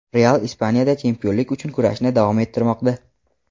"Real" Ispaniyada chempionlik uchun kurashni davom ettirmoqda.